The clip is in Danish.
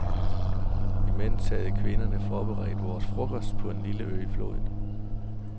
Imens havde kvinderne forberedt vores frokost på en lille ø i floden.